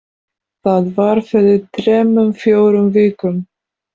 Það var fyrir þremur fjórum vikum